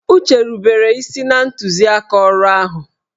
Uche rubere isi na ntuziaka ọrụ ahụ